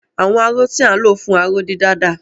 Àwọn aró tí à ń lò fún aró-dídà dà?